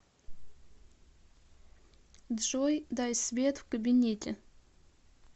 джой дай свет в кабинете